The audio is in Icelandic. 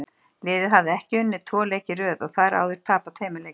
Liðið hafði ekki unnið tvo leiki í röð og þar áður tapað tveimur leikjum.